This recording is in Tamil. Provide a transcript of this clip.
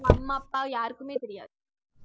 அவங்க அம்மா அப்பா யாருக்குமே தெரியாது